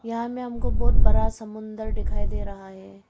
यहां मे हमको बहुत बड़ा समुंदर दिखाई दे रहा है।